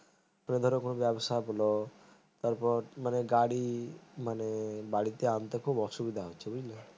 কোন ধরো ব্যবসা বলো তারপর গাড়ি মানে বাড়িতে আনতে খুব অসুবিধা হচ্ছে বুঝলে